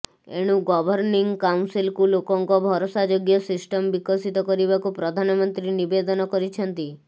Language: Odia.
ଏଣୁ ଗଭର୍ଣ୍ଣିଂ କାଉନସିଲକୁ ଲୋକଙ୍କ ଭରସା ଯୋଗ୍ୟ ସିଷ୍ଟମ ବିକଶିତ କରିବାକୁ ପ୍ରଧାନମନ୍ତ୍ରୀ ନିବେଦନ କରିଛନ୍ତି